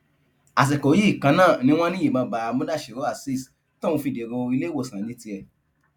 àsìkò yìí kan náà ni wọn ní ìbọn bá mudasiru azeez tóun fi dèrò iléèwòsàn ní tiẹ